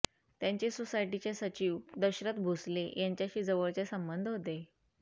त्यांचे सोसायटीचे सचिव दशरथ भोसले यांच्याशी जवळचे संबंध होते